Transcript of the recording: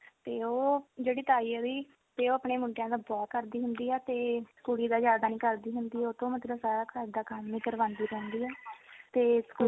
ਤੇ ਉਹ ਜਿਹੜੀ ਤਾਈ ਉਹਦੀ ਤੇ ਉਹ ਆਪਣੇ ਮੁੰਡਿਆ ਦਾ ਬਹੁਤ ਕਰਦੀ ਹੁੰਦੀ ਆ ਤੇ ਕੁੜੀ ਦਾ ਜਿਆਦਾ ਨੀ ਕਰਦੀ ਹੁੰਦੀ ਉਹ ਤੋਂ ਮਤਲਬ ਸਾਰਾ ਘਰ ਦਾ ਕੰਮ ਹੀ ਕਰਵਾਂਦੀ ਰਹਿੰਦੀ ਆ ਤੇ ਸਕੂਲ